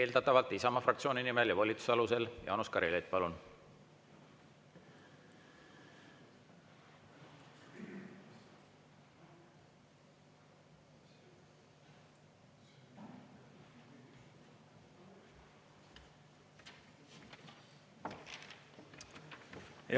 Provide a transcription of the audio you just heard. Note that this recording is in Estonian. Eeldatavalt Isamaa fraktsiooni nimel ja volituse alusel, Jaanus Karilaid, palun!